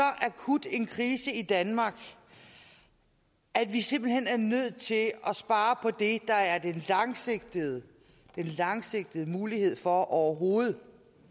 akut en krise i danmark at vi simpelt hen er nødt til at spare på det der er den langsigtede langsigtede mulighed for overhovedet